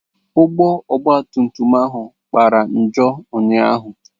Ụgbọ ogba tum tum ahụ kpara njọ ụnyahụ.